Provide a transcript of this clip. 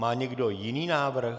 Má někdo jiný návrh?